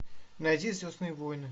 найди звездные войны